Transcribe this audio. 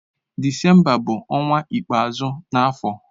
Disemba bu onwa ikpeazu na afo.